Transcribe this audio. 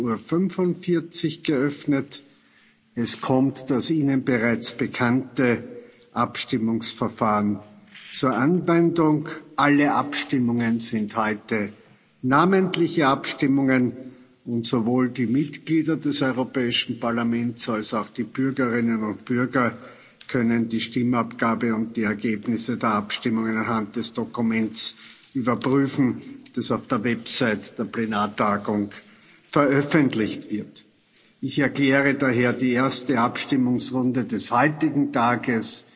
11.45 Uhr geöffnet. Es kommt das Ihnen bereits bekannte Abstimmungsverfahren zur Anwendung. Alle Abstimmungen sind heute namentliche Abstimmungen, und sowohl die Mitglieder des Europäischen Parlaments als auch die Bürgerinnen und Bürger können die Stimmabgabe und die Ergebnisse der Abstimmung anhand des Dokuments überprüfen, das auf der Website der Plenartagung veröffentlicht wird. Ich erkläre daher die erste Abstimungsrunde des heutigen